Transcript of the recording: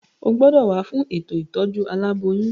O gbọ́dọ̀ wá fún ètò ìtọ́jú aláboyún.